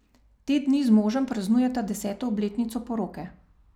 Te dni z možem praznujeta deseto obletnico poroke.